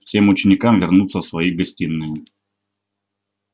всем ученикам вернуться в свои гостиные